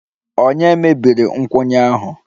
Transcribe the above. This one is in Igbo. Ònye mebiri nkwụnye ahụ?